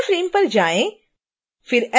शून्य फ्रेम पर जाएँ